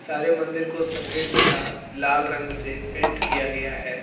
सारे मंदिर को सफेद तथा लाल रंग से पेंट किया गया है।